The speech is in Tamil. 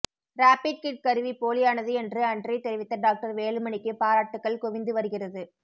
ரேபிட் கிட் கருவி போலியானது என்று அன்றே தெரிவித்த டாக்டர் வேலுமணிக்கு பாராட்டுக்கள் குவிந்து வருகிறது